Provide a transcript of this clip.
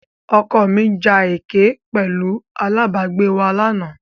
Ọkọ mi ja ẹkẹ pẹ̀lú alábàágbé wa lánàá.